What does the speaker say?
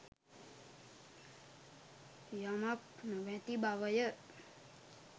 යමක් නොමැති බවය